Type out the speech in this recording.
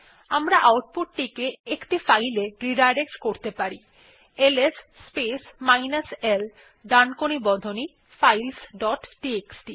আমরা আউটপুট টিকে একটি ফাইলে রিডাইরেক্ট করতে পারি এলএস স্পেস মাইনাস l ডানকোণী বন্ধনী ফাইলস ডট টিএক্সটি